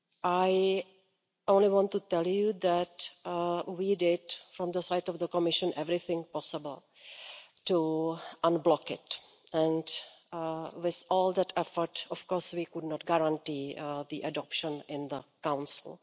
I only want to tell you that we did from the side of the Commission everything possible to unblock it, but with all that effort of course we could not guarantee adoption in the Council.